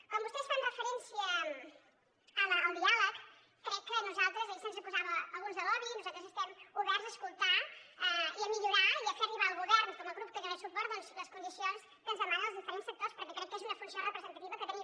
com vostès fan referència al diàleg crec que a nosaltres ahir se’ns acusava alguns de lobby nosaltres estem oberts a escoltar i a millorar i a fer arribar al govern com a grup que hi dona suport doncs les condicions que ens demanen els diferents sectors perquè crec que és una funció representativa que tenim